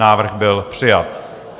Návrh byl přijat.